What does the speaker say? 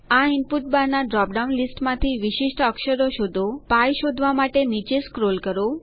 આ input bar ના drop down લીસ્ટમાંથી વિશિષ્ટ અક્ષરો શોધો π શોધવા માટે નીચે સ્ક્રોલ કરો